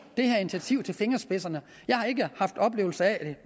det her initiativ jeg har